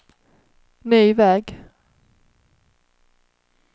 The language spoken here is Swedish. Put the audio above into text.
ny väg